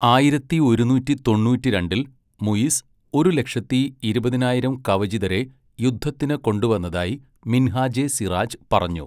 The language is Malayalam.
ആയിരത്തി ഒരുനൂറ്റി തൊണ്ണൂറ്റിരണ്ടിൽ മുയിസ് ഒരു ലക്ഷത്തി ഇരുപതിനായിരം കവചിതരെ യുദ്ധത്തിന് കൊണ്ടുവന്നതായി മിൻഹാജെ സിറാജ് പറഞ്ഞു.